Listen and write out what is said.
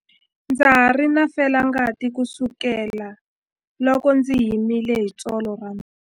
Ndza ha ri na felangati kusukela loko ndzi himile hi tsolo ra mina.